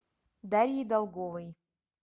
дарьей долговой